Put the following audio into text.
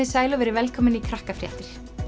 sæl og verið velkomin í